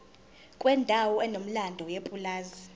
kwendawo enomlando yepulazi